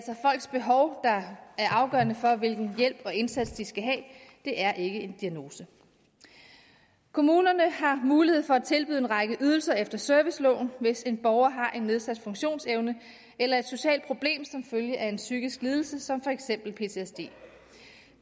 afgørende for hvilken hjælp og indsats de skal have det er ikke en diagnose kommunerne har mulighed for at tilbyde en række ydelser efter serviceloven hvis en borger har en nedsat funktionsevne eller et socialt problem som følge af en psykisk lidelse som for eksempel ptsd